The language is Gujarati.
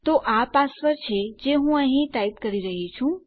તો આ પાસવર્ડ છે જે હું અહીં ટાઈપ કરી રહ્યી છું